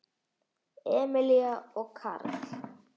Emilía og Karl.